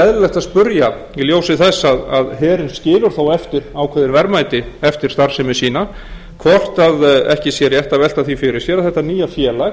eðlilegt að spyrja í ljósi þess að herinn skilur þó eftir ákveðin verðmæti eftir starfsemi sína hvort ekki sé rétt að velta því fyrir sér að þetta nýja félag